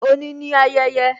Òní ni ayẹyẹ